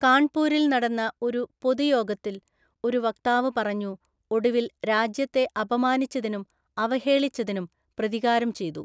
കാൺപൂരിൽ നടന്ന ഒരു പൊതുയോഗത്തിൽ ഒരു വക്താവ് പറഞ്ഞു, ഒടുവിൽ രാജ്യത്തെ അപമാനിച്ചതിനും അവഹേളിച്ചതിനും പ്രതികാരം ചെയ്തു.